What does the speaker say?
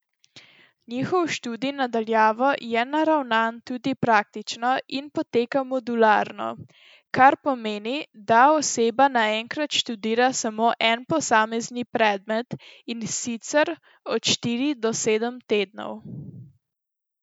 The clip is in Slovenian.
Njihov študij na daljavo je naravnan tudi praktično in poteka modularno, kar pomeni, da oseba naenkrat študira samo en posamezni predmet, in sicer od štiri do sedem tednov.